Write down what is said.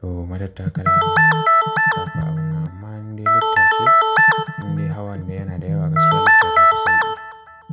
ko matattakala gaba ɗaya. Amma in dai lifta ce, in dai hawan ne yana da yawa gaskiya lifta ta fi sauƙi.